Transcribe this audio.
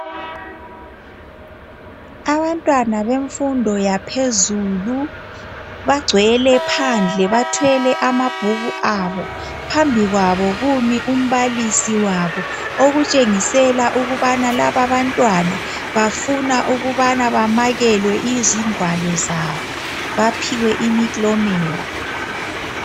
Abantwana bemfundo yaphezulu bangcwele phandle bathwele amabhuku abo phambi kwabo kumi umbalisi wabo okutshengisela ukubana laba abantwana bafuna ukubana bamakelwe izingwalo zabo baphiwe imiklomela